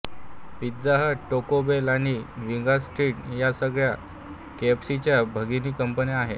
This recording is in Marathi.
पिझ्झा हट टॅको बेल आणि विंगस्ट्रिट या साखळ्या केफसीच्यी भगिनी कंपन्या आहेत